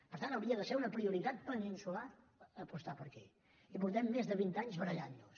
per tant hauria de ser una prioritat peninsular apostar per aquí i portem més de vint anys barallant nos